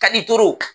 Ka ni